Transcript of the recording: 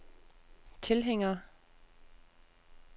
tilhængere